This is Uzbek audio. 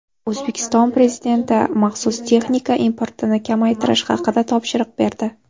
O‘zbekiston Prezidenti maxsus texnika importini kamaytirish haqida topshiriq berdi.